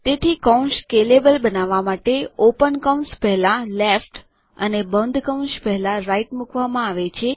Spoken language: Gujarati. તેથી કૌંસ સ્કેલેબલ બનાવવા માટે ઓપન કૌંસ પેહલા લેફ્ટ અને બંધ કૌંસ પહેલાં રાઇટ મૂકવામાં આવે છે